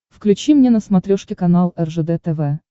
включи мне на смотрешке канал ржд тв